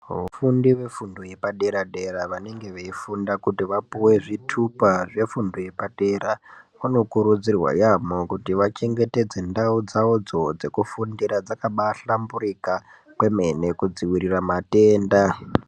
Vafundi vefundo yepadera-dera vanenge veifunda kuti vapuwe zvitupa zvefundo yepadera vanokurudzirwa yaamho kuti vachangetedze ndau dzavodzo dzekufundira dzakabahlamburika kwemene kudzivirira matenda.